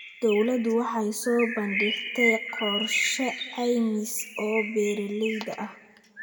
Dawladdu waxay soo bandhigtay qorshe caymis oo beeralayda ah.